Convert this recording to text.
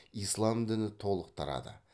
ислам діні толық тарады